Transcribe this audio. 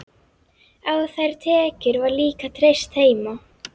Á þær tekjur var líka treyst heima.